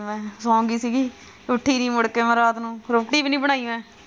ਮੈਂ ਸੌਂ ਗਈ ਸੀ ਗੀ ਉੱਠੀ ਨਹੀਂ ਮੁੜ ਕੇ ਮੈਂ ਰਾਤ ਨੂੰ ਰੋਟੀ ਵੀ ਨਹੀਂ ਬਣਾਈ ਮੈਂ।